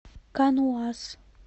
каноас